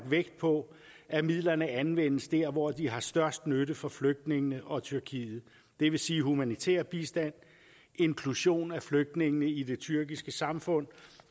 vægt på at midlerne anvendes dér hvor de har størst nytte for flygtningene og tyrkiet det vil sige humanitær bistand inklusion af flygtningene i det tyrkiske samfund